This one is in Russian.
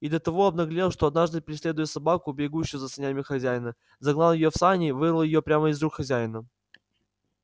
и до того обнаглел что однажды преследуя собаку бегущую за санями хозяина загнал её в сани и вырвал её прямо из рук хозяина